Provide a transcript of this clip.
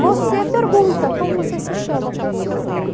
Você pergunta como você se chama, qual o seu nome.